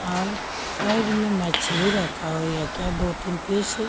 और साइड में मछली रखा है क्या दो तीन पीस --